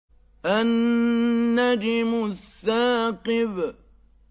النَّجْمُ الثَّاقِبُ